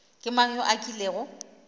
ke mang yo a kilego